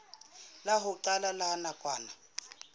la ho qala la nakwana